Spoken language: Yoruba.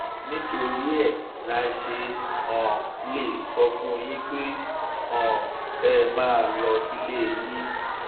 nítorí ẹ la ṣe um lè sọ fún yín pé um kẹ ẹ máa lọ sílé yín